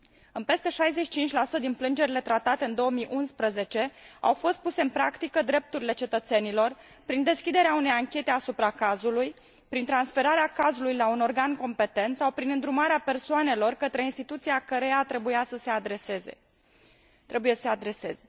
În peste 65 din plângerile tratate în 2011, au fost puse în practică drepturile cetățenilor, prin deschiderea unei anchete asupra cazului, prin transferarea cazului la un organ competent sau prin îndrumarea persoanelor către instituția căreia trebuiau să se adreseze.